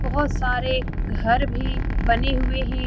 बहोत सारे घर भी बने हुए हैं।